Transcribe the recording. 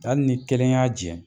Hali ni kelen y'a jɛ